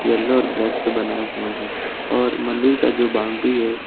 yellow और black से बनाया हुआ है और मंदिर का जो बाउंड्री है--